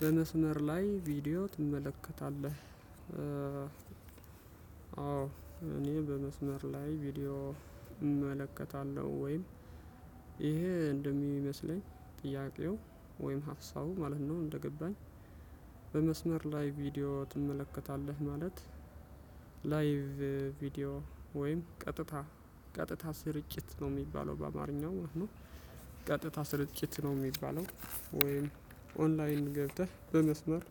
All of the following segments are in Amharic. በመስመር ላይ ቪዲዮ ትመለከታለህ? አዎ። እኔ በመስመር ላይ ቪዲዮ እመለከታለሁ ወይም ይሄ እንደሚመስለኝ ጥያቄው ወይም ሀሳብ ማለት ነው እንደገባኝ። በመስመር ላይ ቪዲዮ ትመለከታለህ? ማለት ላይቭ ቪዲዮ ወይም ቀጥታ ቀጥታ ስርጭት ነው የሚባለው በአማርኛው ማለት ነው። ቀጥታ ስርጭት ነው የሚባለው ወይም ኦንላይን ገብተህ በመስመር።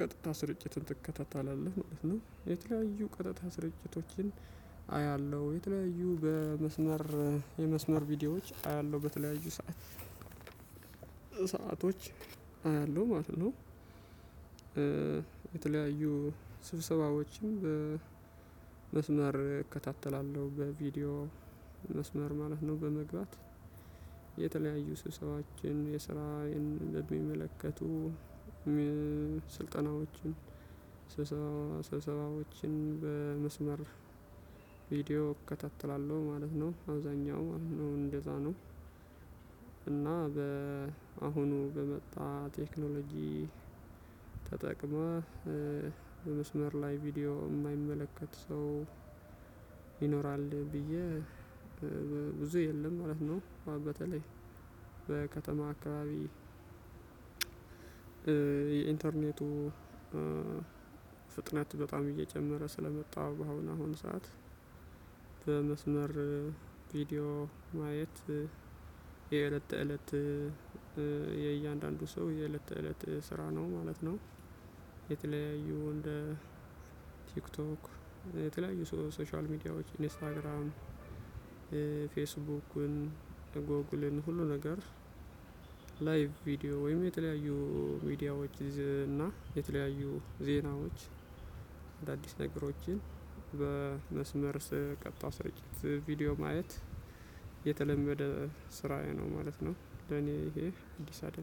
ቀጥታ ስርጭትን ትከታተላለህ ማለት ነው። የተለያዩ ቀጥታ ስርጭቶችን አያለሁ የተለያዩ በመስመር የመስመር ቪዲዮዎች አያለሁ በተለያዩ ሰዓት ሰአቶች አያለሁ ማለት ነው። የተለያዩ ስብሰባዎችም በመስመር እከታተላለሁ በቪዲዮ መስመር ማለት ነው። በመግባት የተለያዩ ስብሰባዎችን የስራ የሚመለከቱ ስልጠናዎችን ስብሰባዎችን በመስመር ቪዲዮ እከታተላለሁ ማለት ነው አውዛኛው ማለት ነው እንደዛ ነው። እና በአሁኑ በመጣ ቴክኖሎጂ ተጠቅመህ በመስመር ላይ ቪዲዮ እማይመለከት ሰው ይኖራል ብዬ ብዙ የለም ማለት ነው። በተለይ በከተማ አካባቢ። የኢንተርኔቱ ፍጥነት በጣም እየጨመረ ስለመጣው በአሁን አሁን ሰዓት በመስመር ቪዲዮ ማየት የእለት እለት የእያንዳንዱ ሰው የእለት እለት ስራ ነው ማለት ነው። የተለያዩ እንደ ቲክቶክ የተለያዩ ሶሻል ሚዲያዎች ኢንስታግራም ፌስቡክን ጎግልን ሀሉ ነገር። ላይቭ ቪዲዮ ወይም የተለያዩ ሚዲያዎች እና ዜናወች አዳዲስ ነገሮችን በመስመር ቀጥታ ስርጭት ቪዲዮ ማየት የተለመደ ስራዬ ነው ማለት ነው። ለኔ ይሄ እንዲህ አይደለም